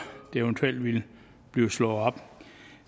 det eventuelt bliver slået op